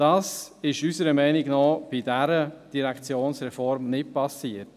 Dies ist unserer Meinung nach bei dieser Reform nicht geschehen.